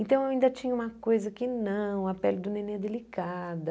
Então, eu ainda tinha uma coisa que não, a pele do neném é delicada.